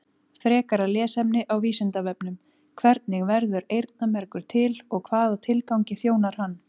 Frekara lesefni á Vísindavefnum: Hvernig verður eyrnamergur til og hvaða tilgangi þjónar hann?